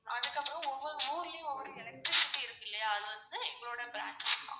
அதுக்கு அப்பறம் ஒவ்வொரு ஊர்லயும் ஒவ்வொரு electricity இருக்குல்லயா அது வந்து எங்களோடைய branch தான்.